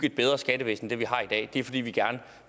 et bedre skattevæsen end det vi har i dag det er fordi vi gerne